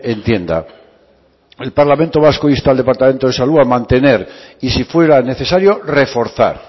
entienda el parlamento vasco insta al departamento de salud a mantener y si fuera necesario reforzar